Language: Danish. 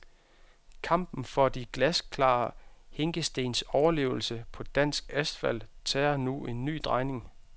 Kampen for de glasklare hinkestens overlevelse på dansk asfalt tager nu en ny drejning.